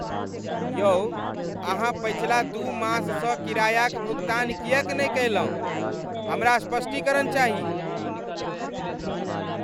यौ अहाँ पछिला दू माससँ किरायाक भुगतान किएक नहि कयलहुँ? हमरा स्पष्टीकरण चाही।